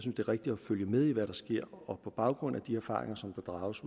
er rigtigt at følge med i hvad der sker og på baggrund af de erfaringer som der drages